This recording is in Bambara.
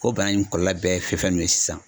Ko bana in kɔlɔlɔ bɛɛ fɛn fɛn ninnu ye sisan